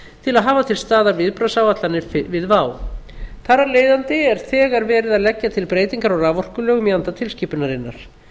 til að hafa til staðar viðbragðsáætlanir við vá þar af leiðandi er þegar verið að leggja til breytingar á raforkulögum í anda tilskipunarinnar